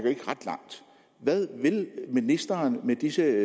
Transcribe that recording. ikke ret langt hvad vil ministeren med disse